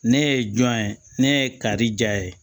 Ne ye jɔn ye ne ye kari diya ye